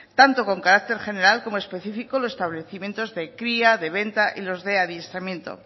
tanto con carácter general como específico en los establecimientos de cría de venta y en los de adiestramiento